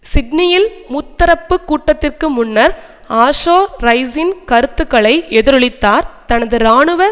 சிட்னியில் முத்தரப்பு கூட்டத்திற்கு முன்னர் ஆஷோ ரைஸின் கருத்துக்களை எதிரொலித்தார் தனது இராணுவ